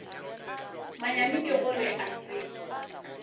manyami ke gore a se